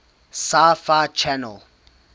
sci fi channel